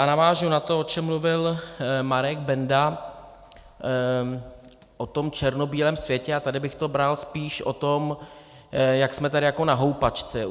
A navážu na to, o čem mluvil Marek Benda, o tom černobílém světě, a tady bych to bral spíš o tom, jak jsme tady jako na houpačce.